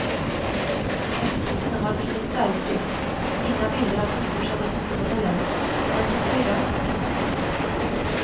Etiketterna har inget färgtryck, inga bilder av nyduschade fotomodeller, inte ens ett elegant typsnitt.